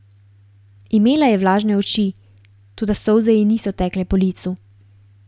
Imela je vlažne oči, toda solze ji niso tekle po licu.